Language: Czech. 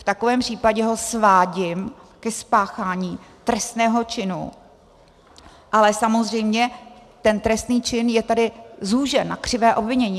V takovém případě ho svádím ke spáchání trestného činu, ale samozřejmě ten trestný čin je tady zúžen na křivé obvinění.